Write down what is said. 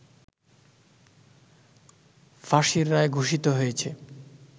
ফাঁসির রায় ঘোষিত হয়েছে